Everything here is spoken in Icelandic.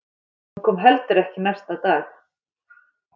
Hún kom heldur ekki næsta dag.